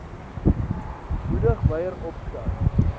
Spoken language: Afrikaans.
moedig wyer oopstel